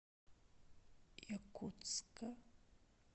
якутска